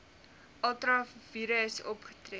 ultra vires opgetree